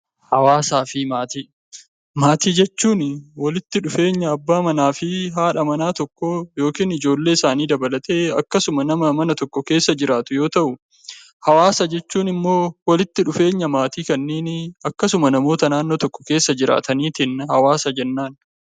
Hawaasaa fi Maatii Maatii jechuun walitti dhufeenya abbaa manaa fi haadha manaa tokkoo yookiin ijoollee isaanii dabalatee akkasuma nama mana tokko keessa jiraatu yoo ta'u; Hawaasa jechuun immoo walitti dhufeenya maatii kanneenii akkasuma namoota naannoo tokko keessa jiraataniitiin 'Hawaasa' jennaan.